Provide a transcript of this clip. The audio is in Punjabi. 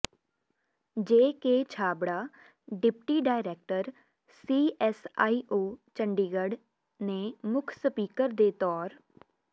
JK Chhabra deputy director CSIO Chandigarh ਨੇ ਮੁੱਖ ਸਪੀਕਰ ਦੇ ਤੌਰ